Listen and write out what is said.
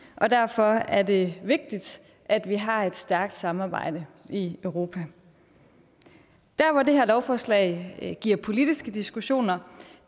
og derfor er det vigtigt at vi har et stærkt samarbejde i europa der hvor det her lovforslag giver politiske diskussioner